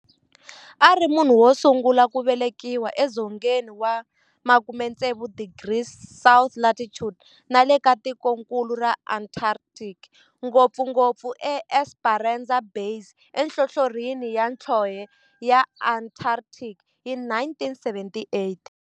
A ri munhu wosungula ku velekiwa e dzongeni wa 60 degrees south latitude nale ka tikonkulu ra Antarctic, ngopfungopfu eEsperanza Base enhlohlorhini ya nhlonhle ya Antarctic hi 1978.